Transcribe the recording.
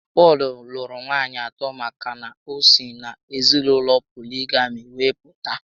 Pọl lụrụ nwaànyị atọ maka na o si n'ezinaụlọ poligami were pụta